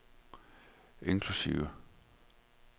inklusive